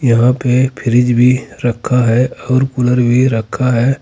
यहां पे फ्रिज भी रखा है और कूलर भी रखा है।